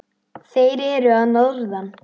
Þeir eru að norðan.